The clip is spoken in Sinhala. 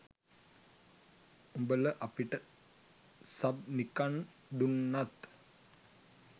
උබල අපිට සබ් නිකන් දුන්නත්